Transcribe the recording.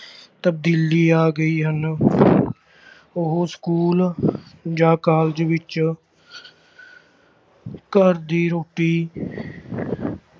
ਤਬਦੀਲੀ ਆ ਗਈ ਹਨ ਉਹ ਸਕੂਲ ਜਾਂ college ਵਿੱਚ ਘਰ ਦੀ ਰੋਟੀ